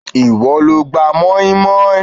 Ìwọ lo gba moinmoin